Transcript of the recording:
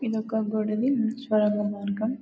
ఇది ఒక గోడ సొరంగ మార్గం.